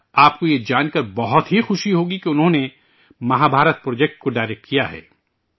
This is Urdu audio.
آپ کو یہ جان کر انتہائی خوشی ہوگی کہ انہوں نے مہابھارت پروجیکٹ کو ڈائریکٹ کیا ہے